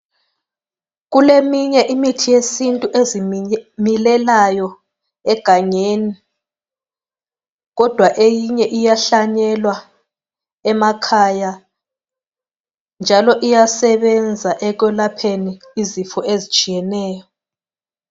Kuleminye imithi yesintu ezimilelayo egangeni kodwa eyinye iyahlanyelwa emakhaya njalo iyasezenza ekwelapheni izifo ezitshiyeneyo.